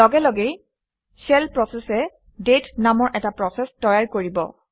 লগে লগেই shell process এ দাঁতে নামৰ এটা প্ৰচেচ তৈয়াৰ কৰিব